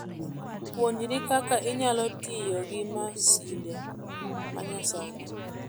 Puonjri kaka inyalo tiyo gi masinde ma nyasani.